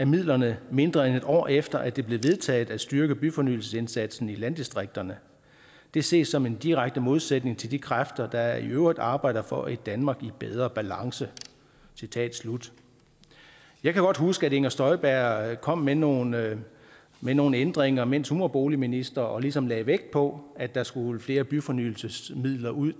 midlerne mindre end et år efter at det blev vedtaget at styrke byfornyelsesindsatsen i landdistrikterne det ses som en direkte modsætning til de kræfter der i øvrigt arbejder for et danmark i bedre balance citat slut jeg kan godt huske at inger støjberg kom med nogle med nogle ændringer mens hun var boligminister og ligesom lagde vægt på at der skulle flere byfornyelsesmidler ud